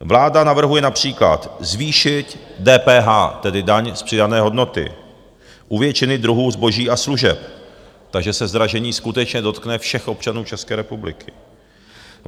Vláda navrhuje například zvýšit DPH, tedy daň z přidané hodnoty, u většiny druhů zboží a služeb, takže se zdražení skutečně dotkne všech občanů České republiky.